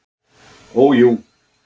Ó jú.